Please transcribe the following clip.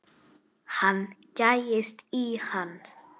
Hann gægist í hann.